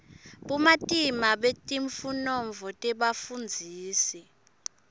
bumatima betifunovo nebafundzisi